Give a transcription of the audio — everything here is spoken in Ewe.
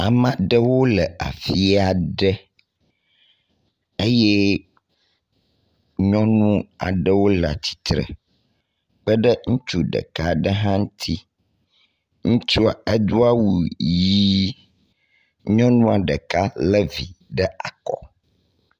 Ame aɖewo le afi aɖe eye nyɔnu aɖewo le atistre kpe ɖe ŋutsu ɖeka aɖe hã ŋuti. Ŋutsua edo awu ʋi nyɔnua ɖeka le vi ɖe akɔ.